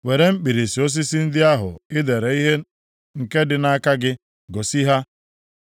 Were mkpirisi osisi ndị ahụ i dere ihe nke dị nʼaka gị, gosi ha,